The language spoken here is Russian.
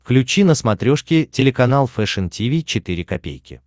включи на смотрешке телеканал фэшн ти ви четыре ка